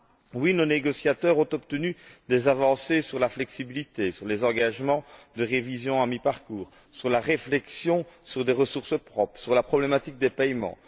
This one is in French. Oui, nos négociateurs ont obtenu des avancées sur la flexibilité, sur les engagements de révision à mi parcours, sur la réflexion sur des ressources propres, sur la problématique des paiements.